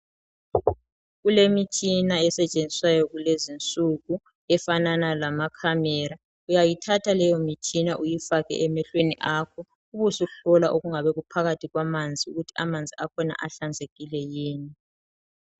Kulemitshina esetshenziswayo kulezinsuku efanana lama camera uyayithatha leyo mitshina uyifake emehlweni akho ubusuthola okungabe kuphakathi kwamanzi ukuthi amanzi akhona ahlanzekile yini.